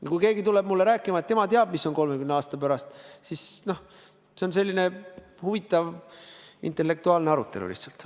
Ja kui keegi tuleb mulle rääkima, et tema teab, mis on 30 aasta pärast, siis, noh, see on selline huvitav intellektuaalne arutelu lihtsalt.